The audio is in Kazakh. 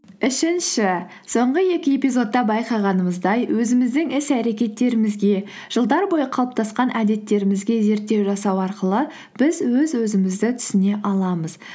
үшінші соңғы екі эпизодта байқағанымыздай өзіміздің іс әрекеттерімізге жылдар бойы қалыптасқан әдеттерімізге зерттеу жасау арқылы біз өз өзімізді түсіне аламыз